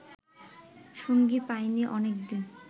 সঙ্গী পায়নি অনেকদিন